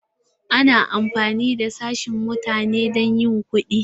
Ana amfani da sashen mutane don yin kuɗi.